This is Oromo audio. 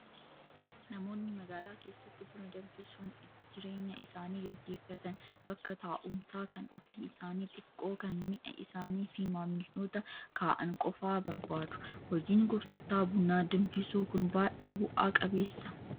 Namoonni magaalaa keessatti buna danfisuun jireenya isaanii gaggeeffatan bakka taa'umsaa kan ofii isaanii xiqqoo kan mi'a isaanii fi maamiltoota kaa'an qofaa barbaadu. Hojiin gurgurtaa buna danfisuu kun baay'ee bu'aa qabeessaa?